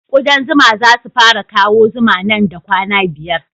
Kuɗan zuma za su fara kawo zuma nan da kwana biyar